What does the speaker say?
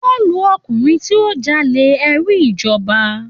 Wọ́n ń lu ọkùnrin tí ó ń jalè ẹrú ìjọba.